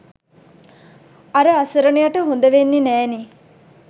අර අසරණයට හොඳ වෙන්නෙ නෑනේ.